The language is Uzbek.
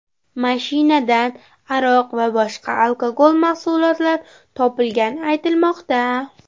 Mashinadan aroq va boshqa alkogol mahsulotlar topilgani aytilmoqda.